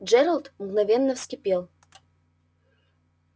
джералд мгновенно вскипел